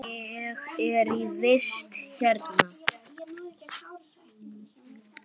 Ég er í vist hérna.